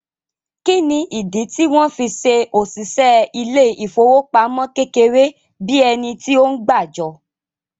Kí ni ìdí tí wọ́n fí se òṣìṣẹ́ ilé ìfowópamọ́ kékeré bíi ẹni tí ó ń gbàjọ?